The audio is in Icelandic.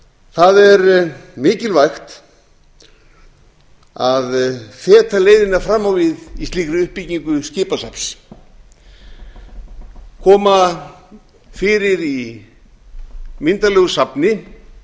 það er mikilvægt að fetaleiðina fram á við í slíki uppbyggingu skipasafns koma því fyrir í myndarlegu safni það